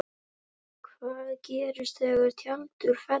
Hvað gerist þegar tjaldið fellur?